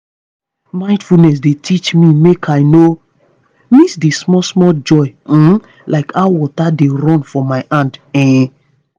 mindfulness dey teach me make i no miss the small-small joy um like how water dey run for my hand um